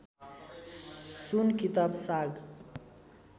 सुन किताब साग